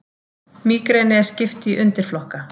Mígreni er skipt í undirflokka.